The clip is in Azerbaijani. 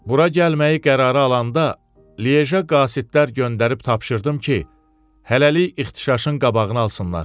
Bura gəlməyi qərara alanda, Lije qasidlər göndərib tapşırdım ki, hələlik ixtişaşın qabağını alsınlar.